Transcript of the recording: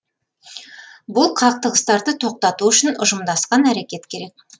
бұл қақтығыстарды тоқтату үшін ұжымдасқан әрекет керек